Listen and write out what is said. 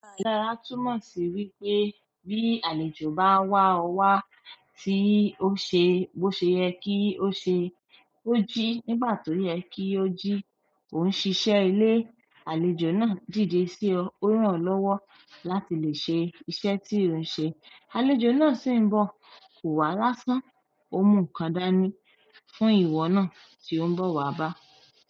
Dára túmọ̀ sí wípé bí àlejò bá wá ọ wá tí ó ṣe bó ṣe yẹ kí ó ṣe ó jí nígbà tó yẹ kí ó jí òhún ń ṣíṣe ilé àlejò náà dìde sí ọ ó ràn ọ́ lọ́wọ́ láti lè ṣe iṣẹ̀ tí ilìre ń ṣe. Àlejò náà sì ń bọ̀ kò wá lásán ó mú nǹkàn dání fún ìwọ náà tí ó ń bọ̀ wá bá a.